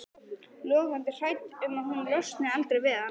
Logandi hrædd um að hún losni aldrei við hann.